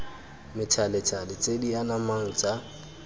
methalethale tse di anamang tsa